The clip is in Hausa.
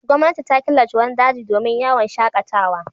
Gwamnati ta killace wani daji dmin yawon shaƙatawa.